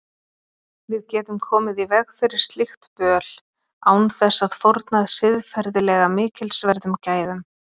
Við getum komið í veg fyrir slíkt böl án þess að fórna siðferðilega mikilsverðum gæðum.